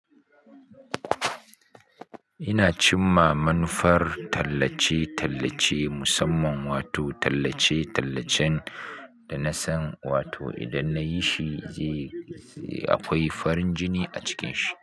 Ina cimma manufar tallace-tallace musamman wato tallace-tallacen da na san wato idan na yi shi zai, akwai farin jini a cikin shi.